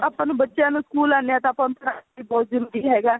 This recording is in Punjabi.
ਆਪਾਂ ਬੱਚਿਆ ਨੂੰ ਸਕੂਲ ਆਂਦੇ ਹਾਂ ਤਾਂ ਆਪਾਂ ਨੂੰ ਪੜ੍ਹਾਣਾ ਵੀ ਬਹੁਤ ਜਰੂਰੀ ਹੈਗਾ ਬਹੁਤ ਜਰੂਰੀ ਹੈਗਾ